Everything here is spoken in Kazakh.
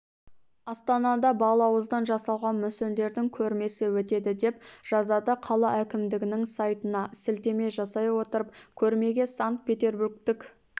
астанада балауыздан жасалған мүсіндердің көрмесі өтеді деп жазады қала әкімдігінің сайтына сілтеме жасай отырып көрмеге санкт-петербургтік